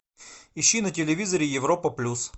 ищи на телевизоре европа плюс